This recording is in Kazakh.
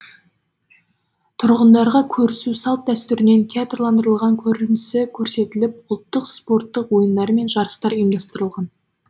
тұрғындарға көрісу салт дәстүрінен театрландырылған көрінісі көрсетіліп ұлттық спорттық ойындары мен жарыстар ұйымдастырылған